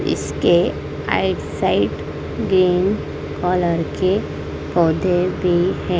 इसके आई साइट गेम कॉलर के पौधे भी है।